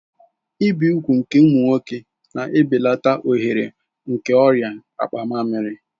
Ibi úgwù nke ụmụ nwoke na-ebelata ohere nke ọrịa akpa mmamiri